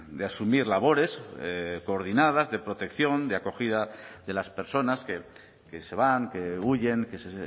de asumir labores coordinadas de protección de acogida de las personas que se van que huyen que se